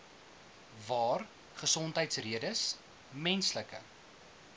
waar gesondheidsredes menslike